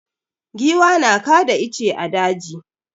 Giwa na kada ice a daji.